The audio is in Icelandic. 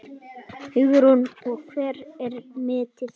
Hugrún: Og hvert er metið?